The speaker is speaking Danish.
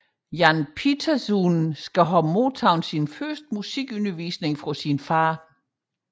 Jan Pieterszoon skal have modtaget sin første musikundervisning fra sin fader